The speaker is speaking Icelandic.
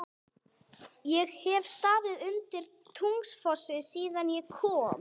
Ég hef staðið undir Tungufossi síðan ég kom.